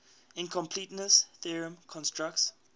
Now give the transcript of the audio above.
incompleteness theorem constructs